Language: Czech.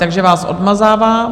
Takže vás odmazávám.